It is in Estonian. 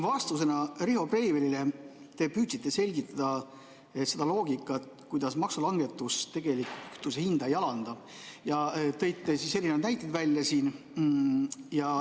Vastusena Riho Breivelile te püüdsite selgitada seda loogikat, kuidas maksulangetus tegelikult kütuse hinda ei alanda, ja tõite erinevaid näiteid.